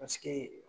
Paseke